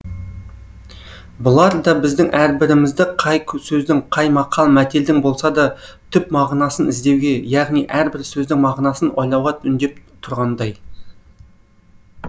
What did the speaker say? бұлар да біздің әрбірімізді қай сөздің қай мақал мәтелдің болса да түп мағынасын іздеуге яғни әрбір сөздің мағынасын ойлауға үндеп тұрғандай